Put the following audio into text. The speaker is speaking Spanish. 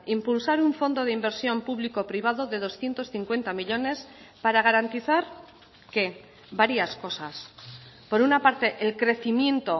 impulsar un fondo de inversión público privado de doscientos cincuenta millónes para garantizar qué varias cosas por una parte el crecimiento